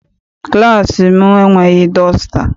Klassị m enweghị dọsta.